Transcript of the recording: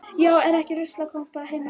Já, er ekki ruslakompa heima hjá ykkur.